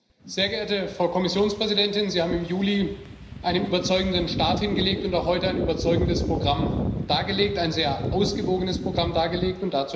Herr Präsident, sehr geehrte Frau Kommissionspräsidentin! Sie haben im Juli einen überzeugenden Start hingelegt und auch heute ein überzeugendes Programm ein sehr ausgewogenes Programm dargelegt.